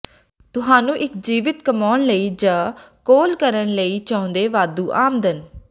ਤੁਹਾਨੂੰ ਇੱਕ ਜੀਵਤ ਕਮਾਉਣ ਲਈ ਜ ਕੋਲ ਕਰਨ ਲਈ ਚਾਹੁੰਦੇ ਵਾਧੂ ਆਮਦਨ